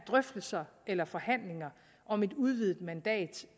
drøftelser eller forhandlinger om et udvidet mandat